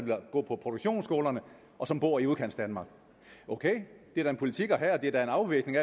går på produktionsskolerne og som bor i udkantsdanmark ok det er da en politik at have og det er en afvejning